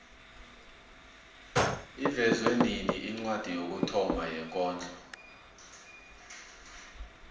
ivezwe nini incwadi yokuthoma yekondlo